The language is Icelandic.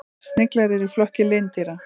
Sniglar eru í flokki lindýra.